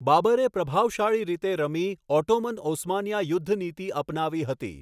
બાબરે પ્રભાવશાળી રીતે રમી ઓટોમન ઓસ્માનીયા યુદ્ધનીતિ અપનાવી હતી.